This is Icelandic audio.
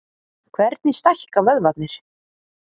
Hvernig stækka vöðvarnir?